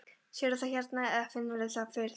Sérðu það hérna eða finnurðu fyrir því?